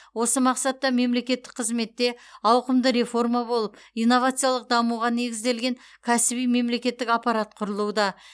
осы мақсатта мемлекеттік қызметте ауқымды реформа болып инновациялық дамуға негізделген кәсіби мемлекеттік аппарат құрылуда